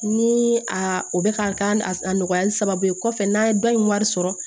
Ni a o bɛ ka k'a nɔgɔyali sababu ye kɔfɛ n'an ye dɔ in wari sɔrɔ